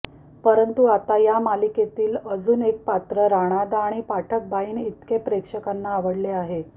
परंतु आता या मालिकेतील अजून एक पात्र राणादा आणि पाठकबाईंइतके प्रेक्षकांना आवडले आहे